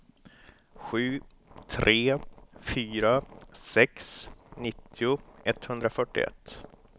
sju tre fyra sex nittio etthundrafyrtioett